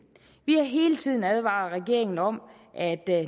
vi har hele tiden advaret regeringen om at